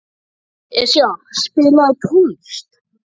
Esja, spilaðu tónlist.